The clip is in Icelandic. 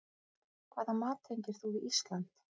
Hvaða mat tengir þú við Ísland?